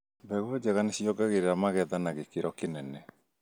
Mbegũ njega nĩciongagĩrĩra magetha na gĩkĩro kĩnene